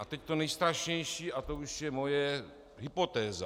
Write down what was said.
A teď to nejstrašnější, a to už je moje hypotéza.